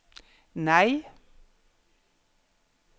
nei